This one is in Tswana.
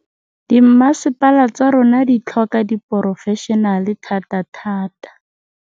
Dimmasepala tsa rona di tlhoka diporofešenale thatathata.